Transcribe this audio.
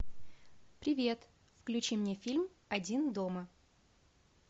привет включи мне фильм один дома